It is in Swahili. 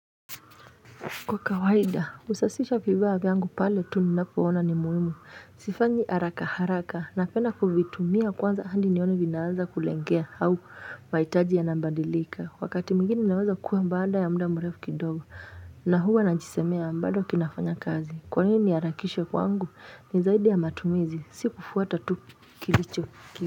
Kwa kawaida, husasisha vibaa vyangu pale tu ninapo ona ni muhimu, sifanyi haraka haraka, napenda kuvitumia kwanza handi nione vinaanza kulengea au vaitaji ya nambadilika, wakati mwigine naweza kuwa mbaada ya mda mrefu kidogo, na huwa na njisemea mbado kinafanya kazi, kwanini niharakishe kwangu ni zaidi ya matumizi, si kufuata tu kilicho.